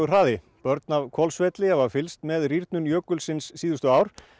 hraði börn af Hvolsvelli hafa fylgst með rýrnun jökulsins síðustu ár